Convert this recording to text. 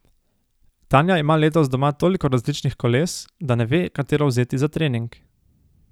Tanja ima letos doma toliko različnih koles, da ne ve, katero vzeti za trening.